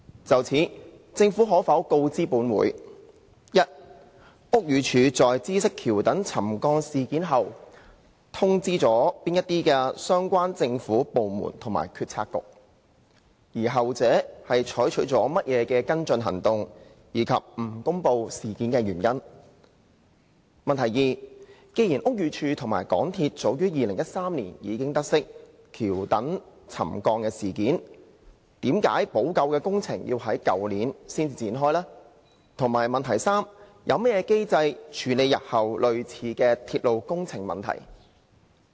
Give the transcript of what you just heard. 就此，政府可否告知本會：一屋宇署在知悉橋躉沉降事件後通知了哪些相關政府部門及決策局；後者採取了甚麼跟進行動，以及不公布事件的原因；二既然屋宇署及港鐵早在2013年已得悉橋躉沉降事件，為何補救工程在去年才展開；及三有何機制處理日後類似的鐵路工程問題？